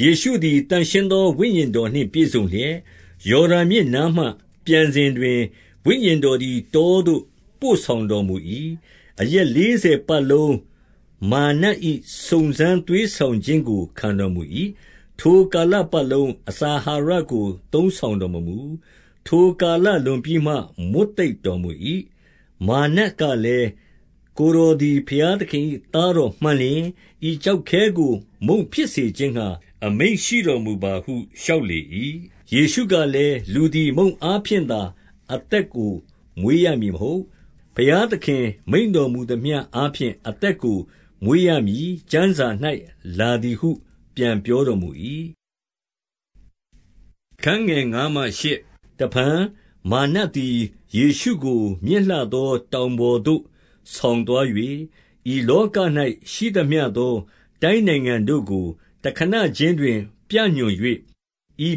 ယေရှုသည် သန့်ရှင်းသောဝိညာဉ်တော်နှင့် ပြည့်စုံလျက်၊ ယော်ဒန်မြစ်နားမှ ပြန်စဉ်တွင် ဝိညာဉ် တော်သည် တောသို့ ပို့ဆောင်တော်မူ၏။ 2 အရက်လေးဆယ်ပတ်လုံး မာရ်နတ်၏ စုံစမ်းသွေးဆောင်ခြင်းကို ခံတော်မူ၏။ ထိုကာလပတ်လုံး အစာအာဟာရကို သုံးဆောင်တော်မမူ။ ထိုကာလလွန်ပြီးမှ မွတ်သိပ်တော်မူ၏။ 3 မာရ်နတ်ကလည်း၊ ကိုယ်တော်သည် ဘုရားသခင်၏သားတော်မှန်လျှင် ဤကျောက်ခဲကို မုန့်ဖြစ်စေ ခြင်းငှါ အမိန့်ရှိတော်မူပါဟု လျှောက်လေ၏။ 4 ယေရှုကလည်း၊ လူသည်မုန့်အားဖြင့်သာ အသက်ကိုမွေးရမည်မဟုတ်။ ဘုရားသခင်မိန့်တော်မူ သမျှ အားဖြင့် အသက်ကိုမွေးရမည်ကျမ်းစာ၌လာသည်ဟု ပြန်ပြောတော်မူ၏။ 5 တဖန်မာရ်နတ်သည် ယေရှုကိုမြင့်လှသော တောင်ပေါ်သို့ဆောင်သွား၍၊ ဤလောက၌ရှိသမျှသော တိုင်းနိုင်ငံတို့ကို တခဏခြင်းတွင် ပြညွှန်၍၊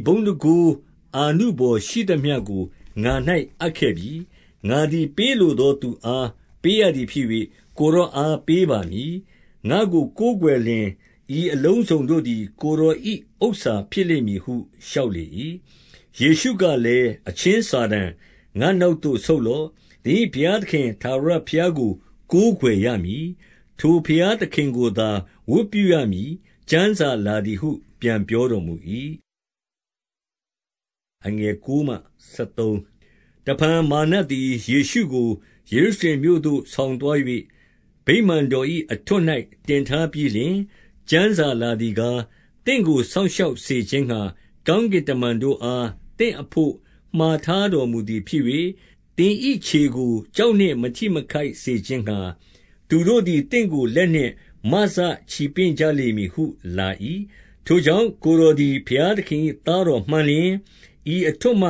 6 ဤဘုန်းတန်ခိုးအာနုဘော်ရှိသမျှကို ငါ၌အပ်ခဲ့ပြီ။ ငါသည် ပေးလိုသောသူအားပေးရသည်ဖြစ်၍ ကိုယ်တော်အား ပေးပါမည်။ 7 ငါ့ကိုကိုးကွယ်လျှင် ဤအလုံးစုံတို့သည် ကိုယ်တော်၏ ဥစ္စာဖြစ်လိမ့်မည်ဟု လျှောက်လေ၏။ 8 ယေရှုကလည်း၊ အချင်းစာတန်၊ ငါ့နောက်သို့ဆုတ်လော့။ သင်၏ဘုရားသခင်ထာဝရဘုရားကို ကိုး ကွယ်ရမည်။ ထိုဘုရားသခင်ကိုသာ ဝတ်ပြုရမည် ကျမ်းစာလာသည်ဟု ပြန်ပြောတော်မူ၏။ 9 တဖန်မာရ်နတ်သည် ယေရှုကို ယေရုရှလင်မြို့သို့ ဆောင်သွား၍၊ ဗိမာန်တော်၏ အထွဋ်၌ တင်ထား ပြီးလျှင်၊ 10 ကျမ်းစာလာသည်ကား၊ သင့်ကို စောင့်ရှောက်စေခြင်းငှါ ကောင်းကင်တမန်တို့အား သင့်အဘို့မှာထား တော်မူသည်ဖြစ်၍၊ 11 သင်၏ခြေကိုကျောက်နှင့် မထိမခိုက်စေခြင်းငှါ၊ သူတို့သည် သင့်ကိုလက်နှင့်မစချီပင့်ကြလိမ့်မည်ဟု လာ၏။ ထိုကြောင့် ကိုယ်တော်သည် ဘုရားသခင်၏ သားတော်မှန်လျှင် ဤအထွဋ်မှ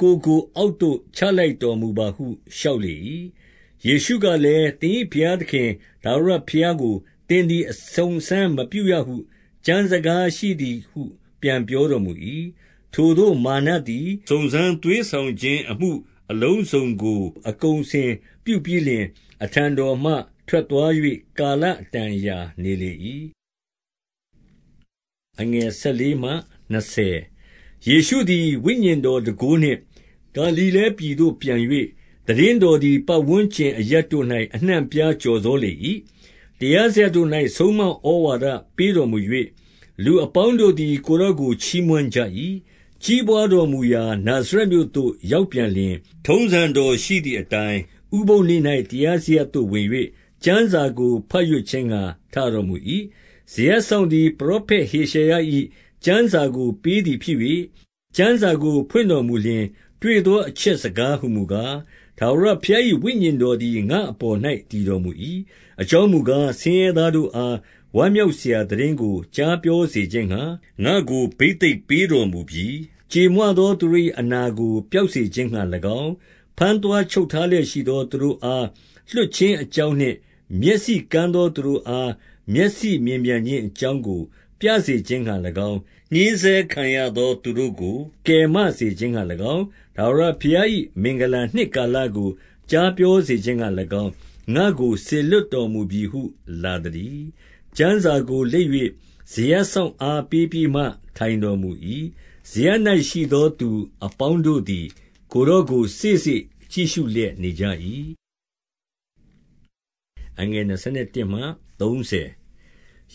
ကိုယ်ကိုအောက်သို့ ချ လိုက်တော်မူပါဟု လျှောက်လေ၏။ 12 ယေရှုကလည်း၊ သင်၏ဘုရားသခင် ထာဝရဘုရားကို သင်သည် အစုံအစမ်းမပြုရဟု ကျမ်းစကား ရှိ သည်ဟု ပြန်ပြောတော်မူ၏။ 13 ထိုသို့မာရ်နတ်သည် စုံစမ်းသွေးဆောင်ခြင်း အမှုအလုံးစုံကို အကုန်အစင်ပြုပြီးလျှင်၊ အထံတော်မှ ထွက်သွား၍ ကာလအတန်အရာနေလေ၏။ 14 ယေရှုသည် ဝိညာဉ်တော်တန်ခိုးနှင့်ဂါလိလဲပြည်သို့ပြန်၍၊ သိတင်းတော်သည် ပတ်ဝန်းကျင်အရပ်တို့၌ အနှံ့အပြားကျော်စောလေ၏။ တရားစရပ်တို့၌ ဆုံးမဩဝါဒပေးတော်မူ၍၊ 15 လူအပေါင်းတို့သည် ကိုယ်တော်ကိုချီးမွမ်းကြ၏။ 16 ကြီးပွားတော်မူရာ နာဇရပ်မြို့သို့ ရောက်ပြန်လျှင်၊ ထုံးစံတော်ရှိသည်အတိုင်း ဥပုသ်နေ့၌ တရားစရပ် သို့ ဝင်၍ ကျမ်းစာကို ဘတ်ရွတ်ခြင်းငှါ ထတော်မူ၏။ 17 စရပ်စောင့်သည် ပရောဖက်ဟေရှာယ၏ ကျမ်းစာကိုပေးသည်ဖြစ်၍၊ ကျမ်းစာကိုဖွင့်တော်မူလျှင် တွေ့ သောအချက်စကားဟူမူကား၊ 18 ထာဝရဘုရား၏ ဝိညာဉ်တော်သည် ငါ့အပေါ်၌ တည်တော်မူ၏။ 19 အကြောင်းမူကား၊ ဆင်းရဲသားတို့အား ဝမ်းမြောက်စရာသိတင်းကိုကြားပြောစေခြင်းငှါ ငါ့ကို ဘိသိတ် ပေးတော်မူပြီ။ ကြေမွသောသူတို့၏ အနာကိုပျောက်စေခြင်းငှါ၎င်း၊ ဘမ်းသွားချုပ်ထားလျက်ရှိသော သူတို့အား လွှတ်ခြင်းအကြောင်းနှင့် မျက်စိကန်းသောသူတို့အား မျက်စိမြင်ပြန်ခြင်းအကြောင်းကို ပြစေခြင်းငှါ၎င်း၊ ညှဉ်းဆဲ ခံရသောသူတို့ကို ကယ်မစေခြင်းငှါ၎င်း၊ ထာဝရဘုရား၏ မင်္ဂလာနှစ်ကာလကို ကြားပြောစေခြင်းငှါ၎င်း၊ ငါ့ကို စေလွှတ်တော်မူပြီဟု လာသတည်း။ 20 ကျမ်းစာကိုလိပ်၍ စရပ်စောင့်အားပေးပြီးမှ ထိုင်တော်မူ၏။ စရပ်၌ရှိသောသူအပေါင်းတို့သည် ကိုယ် တော်ကိုစေ့စေ့ကြည့်လျက်နေကြ၏။ 21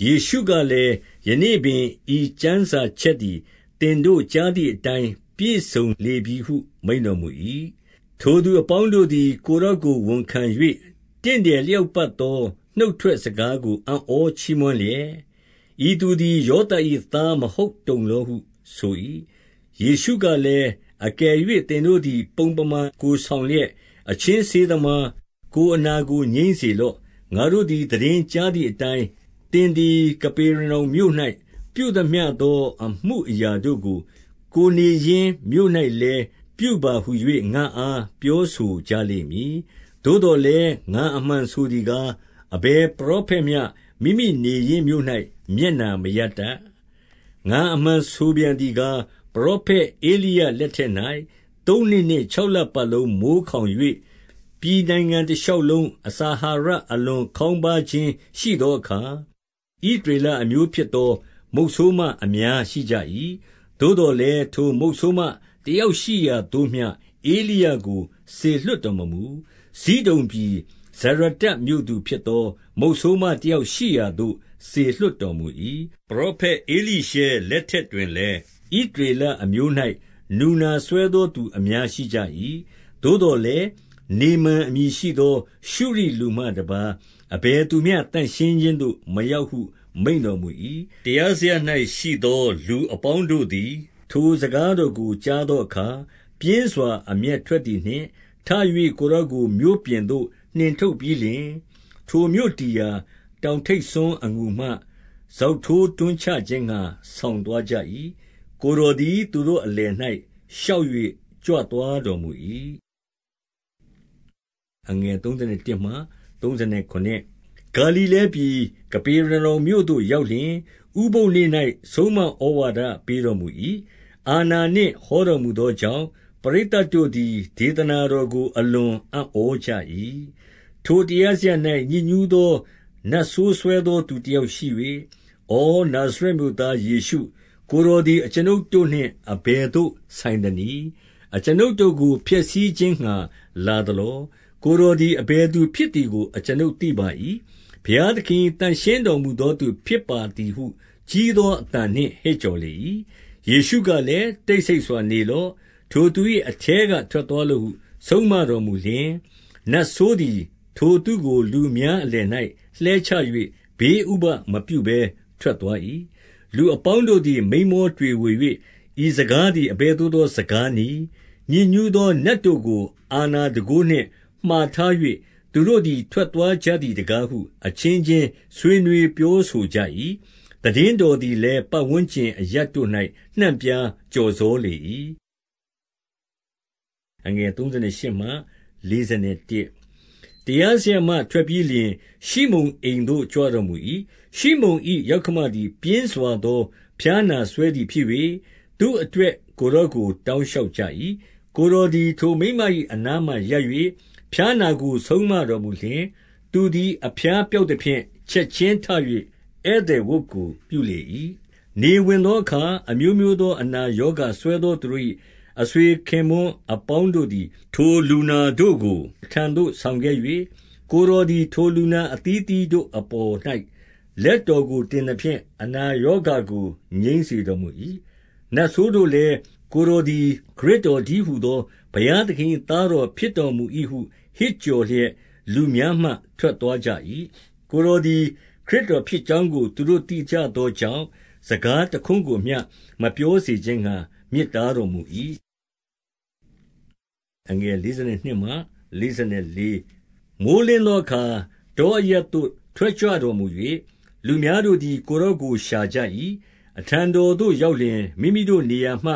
ယေရှုကလည်း၊ ယနေ့ပင် ဤကျမ်းစာချက်သည် သင်တို့ကြာသည်အတိုင်း ပြည့်စုံလေပြီဟု မိန့်တော် မူ၏။ 22 ထိုသူအပေါင်းတို့သည် ကိုယ်တော်ကိုဝန်ခံ၍၊ တင့်တယ်လျောက်ပတ်သော နှုတ်ထွက်စကားကို အံ့ဩ ချီးမွမ်းလျက်၊ ဤသူသည် ယောသပ်၏ သားမဟုတ်တုံသောဟု ဆိုကြ၏။ 23 ယေရှုကလည်၊ အကယ်၍သင်တို့သည် ပုံပမာဆောင်လျှက်၊ အချင်းဆေးသမား၊ ကိုယ်အနာကို ငြိမ်း စေလော့။ ငါတို့သည် သိတင်းကြားသည်အတိုင်း၊ သင်သည် ကပေရနောင်မြို့၌ ပြုသမျှသော အမှုအရာတို့ကို ကိုယ်နေရင်းမြို့၌လည်း၊ ပြုပါဟူ၍ ငါ့အား ပြောဆိုကြလိမ့်မည်။ သို့သော်လည်း၊ ငါအမှန်ဆိုသည်ကား၊ 24 အဘယ်ပရောဖက်မျှ မိမိနေရင်းမြို့၌ မျက်နှာမရတတ်။ 25 ငါအမှန်ဆိုပြန်သည်ကား၊ ပရောဖက် ဧလိယ လက်ထက်၌ သုံးနှစ်နှင့်ခြောက်လပတ်လုံး မိုဃ်းခေါင်၍၊ ပြည်နိုင်ငံတလျှောက်လုံး အစာအဟာရအလွန်ခေါင်းပါးခြင်း ရှိသောအခါ၊ ဣသရေလအမျိုးဖြစ်သော မုတ်ဆိုးမ အများရှိကြ၏။ 26 သို့သော်လည်း၊ ထိုမုဆိုးမတယောက်ရှိရာသို့မျှ ဧလိယကိုစေလွှတ်တော်မမူ။ ဇိဒုန်ပြည် ဇရတ္တမြို့သူ ဖြစ်သော မုတ်ဆိုးမတယောက်ရှိရာသို့ စေလွှတ်တော်မူ၏။ 27 ပရောဖက် ဧလိရှဲလက်ထက်တွင်လည်း၊ ဣသရေလအမျိုး၌ နူနာစွဲသောသူအများရှိကြ၏။ သို့သော် လည်း၊ နေမန်အမည်ရှိသော ရှုရိလူမှတပါး အဘယ်သူမျှ သန့်ရှင်းခြင်းသို့ မရောက်ဟုမိန့်တော်မူ၏။ 28 တရားစရပ်၌ရှိသော လူအပေါင်းတို့သည် ထိုစကားတော်ကို ကြားသောအခါ ပြင်းစွာအမျက်ထွက် သည်နှင့်၊ 29 ထ၍ ကိုယ်တော်ကိုမြို့ပြင်သို့ နှင်ထုတ်ပြီးလျှင်၊ ထိုမြို့တည်ရာ တောင်ထိပ်စွန်းအငူမှ စောင့်ထိုးတွန်းချ ခြင်းငှါ ဆောင်သွားကြ၏။ 30 ကိုယ်တော်သည် သူတို့အလယ်၌ လျှောက်၍ ကြွသွားတော်မူ၏။ 31 ဂါလိလဲပြည် ကပေရနောင်မြို့သို့ရောက်လျှင်၊ ဥပုသ်နေ့၌ ဆုံးမဩဝါဒပေးတော်မူ၏။ 32 အာဏာနှင့် ဟောတော်မူသောကြောင့် ပရိတ်သတ်တို့သည် ဒေသနာတော်ကိုအလွန်အံ့ဩကြ၏။ 33 ထိုတရားစရပ်၌ ညစ်ညူးသော နတ်ဆိုးစွဲသောသူတယောက်ရှိ၍၊ 34 ဪနာဇရပ်မြို့သား ယေရှုကိုယ်တော်သည် အကျွန်ုပ်တို့နှင့် အဘယ်သို့ဆိုင်သနည်း။ အကျွန်ုပ်တို့ကို ဖျက်ဆီးခြင်းငှါ လာသလော။ ကိုယ်တော်သည် အဘယ်သူဖြစ်သည်ကို အကျွန်ုပ်သိပါ၏၊ ဘုရားသခင်၏ သန့်ရှင်းတော်မူသောသူဖြစ်ပါသည်ဟု ကြီးသောအသံနှင့် ဟစ်ကြော်လေ၏။ 35 ယေရှုကလည်း၊ တိတ်ဆိတ်စွာနေလော့။ ထိုသူ၏အထဲက ထွက်သွားလော့ဟု ဆုံးမတော်မူလျှင်၊ နတ် ဆိုးသည်ထိုသူကို လူအများအလယ်၌ လှဲချ၍ ဘေးဥပဒ်မပြုဘဲ ထွက်သွား၏။ 36 လူအပေါင်းတို့သည် မိန်းမောတွေဝေ၍၊ ဤစကားသည် အဘယ်သို့သော စကားနည်း၊ ညစ်ညူးသော နတ်တို့ကို အာဏာတန်ခိုးနှင့် မှာထား၍ သူတို့သည် ထွက်သွားကြသည်တကားဟု အချင်းချင်းဆွေးနွေး ပြော ဆိုကြ၏။ 37 သိတင်းတော်သည်လည်း၊ ပတ်ဝန်းကျင်အရပ်တို့၌ နှံ့ပြားကျော်စောလေ၏။ 38 တရားစရပ်မှ ထွက်ပြီးလျှင် ရှိမုန်အိမ်သို့ကြွတော်မူ၏။ ရှိမုန်၏ ယောက္ခမသည် ပြင်းစွာသော ဖျားနာစွဲ သည်ဖြစ်၍ သူ့အတွက်ကိုယ်တော်ကိုတောင် လျှောက်ကြ၏။ 39 ကိုယ်တော်သည် ထိုမိန်းမ၏ အနားမှာရပ်၍ ဖျားနာကိုဆုံးမတော်မူလျှင်၊ သူသည် အဖျားပျောက် သဖြင့် ချက်ခြင်းထ၍ ဧည့်သည်ဝတ်ကိုပြုလေ၏။ 40 နေဝင်သောအခါ အမျိုးမျိုးသော အနာရောဂါစွဲသောသူတို့၏ အဆွေခင်ပွန်းအပေါင်းတို့သည် ထို လူနာတို့ကို အထံတော်သို့ဆောင်ခဲ့၍၊ ကိုယ်တော်သည် ထိုလူနာအသီးသီးတို့ အပေါ်၌လက်တော်ကို တင် သဖြင့် အနာရောဂါကို ငြိမ်းစေတော်မူ၏။ 41 နတ်ဆိုးတို့လည်း၊ ကိုယ်တော်သည် ခရစ်တော်တည်းဟူသော ဘုရားသခင်၏သားတော်ဖြစ်တော်မူ ၏ဟု ဟစ်ကြော်လျက်လူများမှ ထွက်သွားကြ၏။ ကိုယ်တော်သည် ခရစ်တော်ဖြစ်ကြောင်းကို သူတို့သိကြသော ကြောင့် စကားတခွန်းကိုမျှ မပြောစေခြင်းငှါ မြစ်တားတော်မူ၏။ 42 မိုဃ်းလင်းသောအခါ တောအရပ်သို့ ထွက်ကြွတော်မူ၍၊ လူအများတို့သည် ကိုယ်တော်ကိုရှာကြ၏၊ အထံတော်သို့ရောက်လျှင်၊ မိမိတို့နေရာမှ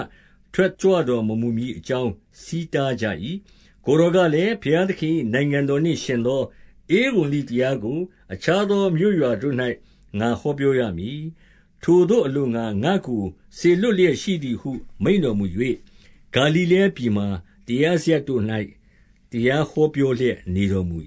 ထွက်ကြွတော် မမူမည်အကြောင်း ဆီးတားကြ၏။ 43 ကိုယ်တော်ကလည်း၊ ဘုရားသခင်၏နိုင်ငံတော်နှင့်ယှဉ်သော ဧဝံဂေလိတရားကို အခြားသောမြို့ရွာတို့ ၌ ငါဟောပြောရမည်။ 44 ထိုသို့အလို့ငှါ ငါ့ကိုစေလွတ်လျက်ရှိသည်ဟု မိန့်တော်မူ၍၊ ဂါလိလဲပြည်မှာ တရားစရပ်တို့၌ တရား ဟောပြောလျက်နေတော်မူ